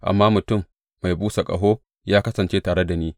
Amma mutum mai busa ƙaho ya kasance tare da ni.